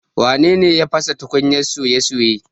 Wane ne ya fasa tukunyar soya soye?